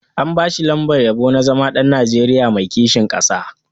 An ba shi lambar yabo na zama ɗan Nigeria mai kishin ƙasa.